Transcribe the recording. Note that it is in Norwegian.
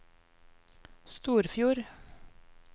Storfjord